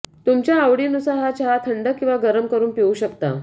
तुमच्या आवडीनुसार हा चहा थंड किंवा गरम करून पिऊ शकता